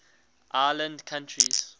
island countries